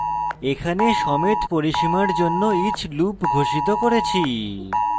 এখানে সমেত পরিসীমার জন্য each loop ঘোষিত করেছি